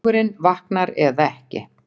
Hugurinn vaknar eða ekki.